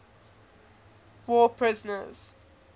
war prisoners